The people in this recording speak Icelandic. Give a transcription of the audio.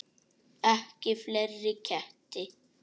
Ekki fleiri ketti.